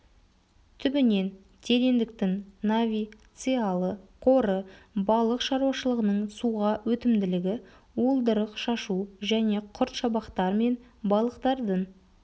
түбінен тереңдіктің нави циялы қоры балық шаруашылығының суға өтімділігі уылдырық шашу және құрт шабақтар мен балықтардың